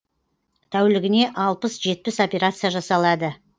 тәулігіне алпыс жетпіс операция жасалады